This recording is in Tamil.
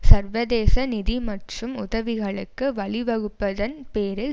சர்வதேச நிதி மற்றும் உதவிகளுக்கு வழிவகுப்பதன் பேரில்